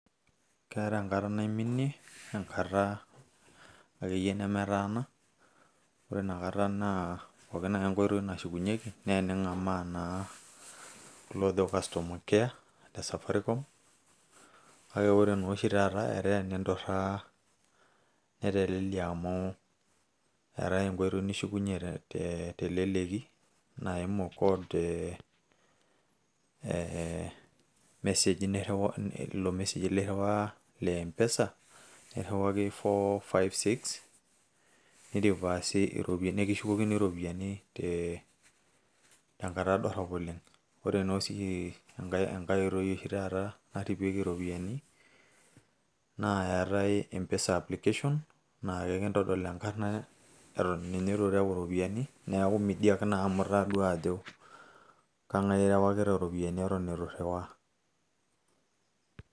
Keeta enkata naiminie enkata akeyie nemetaana, ore inakata naa pookin ake enkoitoi nashukunyeki na ening'amaa kulo ojo Customer care le safaricom, kake ore noshi taata, netaa eninturraa, netelelia amu eetae enkoitoi nishukunye teleleki naimu code eh meseji nirriwaa le M-PESA, nirriwaki four-five-six, nirivasi iropiyiani ashu kishukokini iropiyiani eh tenkata dorrop oleng'. Ore noshi enkae oitoi oshi taata nashukieki ropiyaiani, na eetae M-PESA application ,na ekintodol ekarna eton ninye itu reu iropiyiani, neeku midiak naa amu kang'ae irriwakita iropiyiani naa eton itu irriwaa.